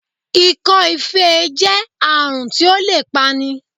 Ikọ́-ifé e jẹ́ àrùn tí ó lè pa ni